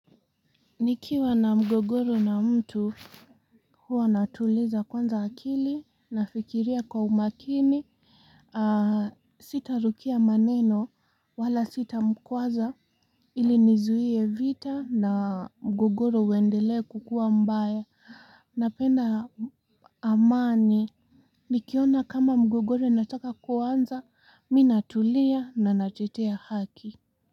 Nikiwa na mgogoro na mtu huwa natuliza kwanza akili na fikiria kwa umakini Sita rukia maneno wala sita mkwaza Ilinizuie vita na mgogoro uendele kukua mbae napenda amani Nikiona kama mgogoro nataka kuanza minatulia na natetea haki.